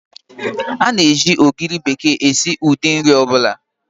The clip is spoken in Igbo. Ána eji ogiri bekee esi ụdị nri ọ bụla